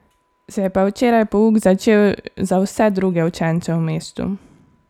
Se je pa včeraj pouk začel za vse druge učence v mestu.